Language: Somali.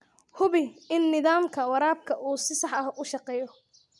Hubi in nidaamka waraabka uu si sax ah u shaqeeyo.